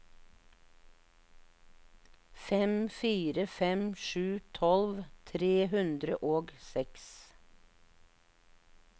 fem fire fem sju tolv tre hundre og seks